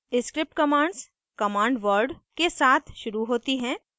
script commands commands word के साथ शुरू होती हैं